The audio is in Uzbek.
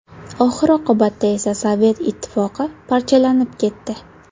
Oxir-oqibatda esa Sovet Ittifoqi parchalanib ketdi.